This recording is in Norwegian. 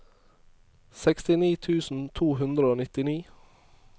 sekstini tusen to hundre og nittini